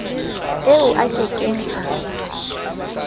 eo a ke keng a